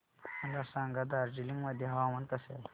मला सांगा दार्जिलिंग मध्ये हवामान कसे आहे